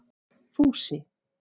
Fúsi